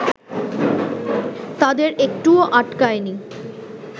তাদের একটুও আটকায় নি